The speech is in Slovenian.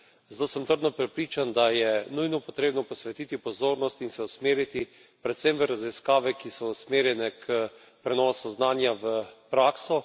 Zato sem trdno prepričan, da je nujno potrebno posvetiti pozornost in se usmeriti predvsem v raziskave, ki so usmerjene k prenosu znanja v prakso.